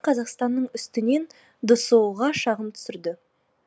қырғызстан қазақстанның үстінен дсұ ға шағым түсірді